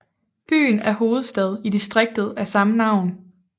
Byen er hovedstad i distriktet af samme navn